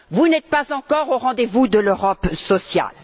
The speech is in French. Vous n'êtes pas encore au rendez vous de l'Europe sociale.